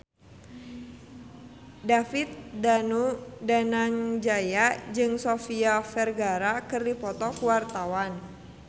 David Danu Danangjaya jeung Sofia Vergara keur dipoto ku wartawan